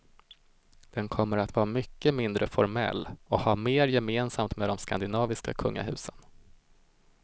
Den kommer att vara mycket mindre formell och ha mer gemensamt med de skandinaviska kungahusen.